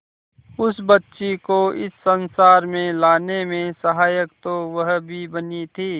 उस बच्ची को इस संसार में लाने में सहायक तो वह भी बनी थी